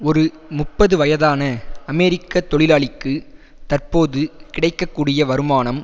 ஒரு முப்பது வயதான அமெரிக்க தொழிலாளிக்கு தற்போது கிடைக்க கூடிய வருமானம்